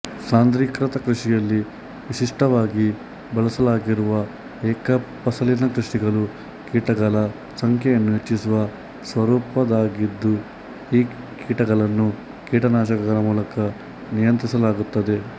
ಸಾಂದ್ರೀಕೃತ ಕೃಷಿಯಲ್ಲಿ ವಿಶಿಷ್ಟವಾಗಿ ಬಳಸಲಾಗಿರುವ ಏಕಫಸಲಿನ ಕೃಷಿಗಳು ಕೀಟಗಳ ಸಂಖ್ಯೆಯನ್ನು ಹೆಚ್ಚಿಸುವ ಸ್ವರೂಪದ್ದಾಗಿದ್ದು ಈ ಕೀಟಗಳನ್ನು ಕೀಟನಾಶಕಗಳ ಮೂಲಕ ನಿಯಂತ್ರಿಸಲಾಗುತ್ತದೆ